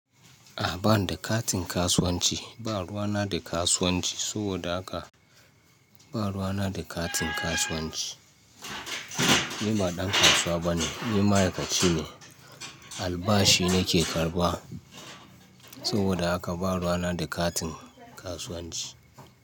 A'a, bani da katin kasuwanci. Ba ruwa na da kasuwanci, saboda haka ba ruwa na da katin kasuwanci. Ni ba ɗan kasuwa bane, ni ma'aikaci ne. Albashi nake karɓa saboda haka ba ruwa na da katin kasuwanci.